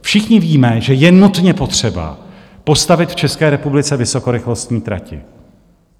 Všichni víme, že je nutně potřeba postavit v České republice vysokorychlostní trati.